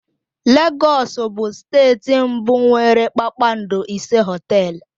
Lagos bụ steeti mbụ nwere kpakpando ise hoteelu.